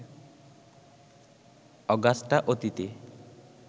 Augusta অতীতে